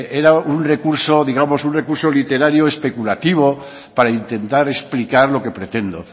era un recurso digamos un recurso literario especulativo para intentar explicar lo que pretendo